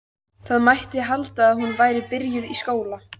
Það mætti halda að hún væri byrjuð í skóla.